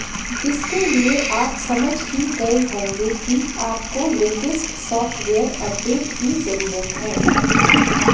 इसके लिए आप समझ ही गए होंगे कि आपको लेटेस्ट सॉफ्टवेयर अपडेट की जरूरत है